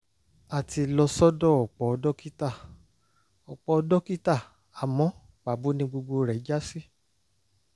a ti lọ sọ́dọ̀ ọ̀pọ̀ dókítà ọ̀pọ̀ dókítà àmọ́ pàbó ni gbogbo rẹ̀ já sí